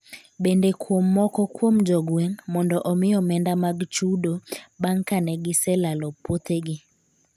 Bende kuom moko kuom jogweng' mondo omi omenda mag chudo bang’ ka ne giselalo puothegi.